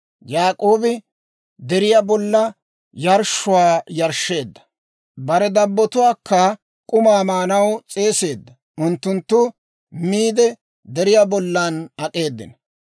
Yaak'oobi deriyaa bollan yarshshuwaa yarshsheedda; bare dabbotuwaakka k'umaa maanaw s'eeseedda. Unttunttu miide deriyaa bollan ak'eedino.